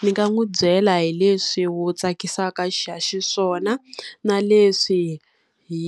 Ndzi nga n'wi byela hi leswi wo tsakisaka xiswona, na leswi hi